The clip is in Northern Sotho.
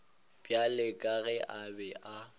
bjalo ka ge a be